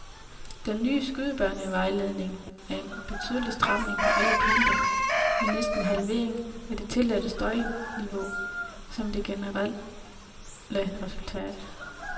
Den nye skydebanevejledning er en betydelig stramning på alle punkter med næsten en halvering af det tilladte støjniveau som det generelle resultat.